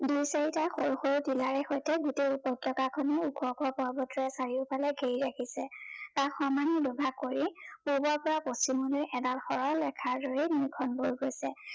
দুই চাৰিটা সৰু সৰু টিলাৰে সৈতে গোতেই উপত্যকা খনেই উখ উখ পৰ্বতেৰে চাৰিওফালে ঘেৰি ৰাখিছে তাক সমানে দুভাগ কৰি পূৱৰ পৰা পশ্চিমলৈ এদাল সৰল ৰেখাৰ দৰেই নৈ খন বৈ গৈছে।